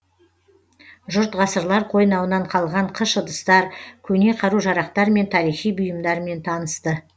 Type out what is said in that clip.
жұрт ғасырлар қойнауынан қалған қыш ыдыстар көне қару жарақтар мен тарихи бұйымдармен танысты